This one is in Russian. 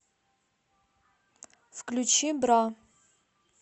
включи бра